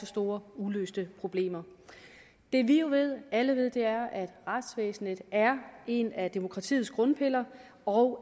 store uløste problemer det vi jo alle ved er at retsvæsenet er en af demokratiets grundpiller og